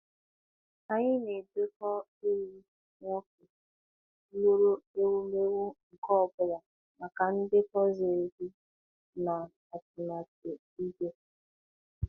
Anyị na-edekọ ehi nwoke lụrụ ewumewụ nke ọ bụla maka ndekọ ziri ezi na atụmatụ ìgwè.